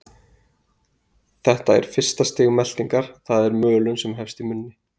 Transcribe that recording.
Þetta er fyrsta stig meltingar, það er mölun, sem hefst í munni.